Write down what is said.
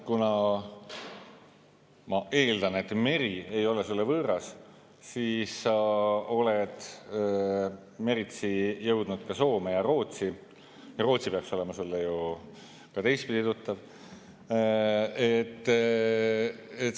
Ma eeldan, et meri ei ole sulle võõras, sa oled meritsi jõudnud ka Soome ja Rootsi ja Rootsi peaks olema sulle ju ka teistpidi tuttav.